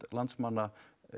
landsmanna